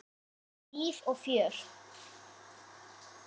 Þar var líf og fjör.